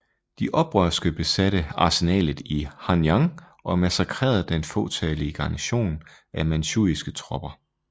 De oprørske besatte arsenalet i Hanyang og massakrerede den fåtallige garnison af manchuiske tropper